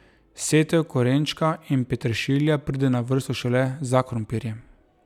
Setev korenčka in peteršilja pride na vrsto šele za krompirjem.